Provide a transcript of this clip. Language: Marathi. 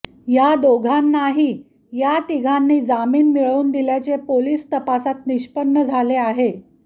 या दोघांनाही या तिघांनी जामीन मिळवून दिल्याचे पोलीस तपासात निष्पन्न झाले आहे